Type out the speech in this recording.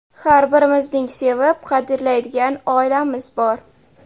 Har birimizning sevib, qadrlaydigan oilamiz bor.